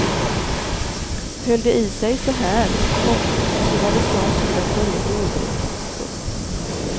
Höll det i sig så här, komma så var det snart tid att börja vårbruket. punkt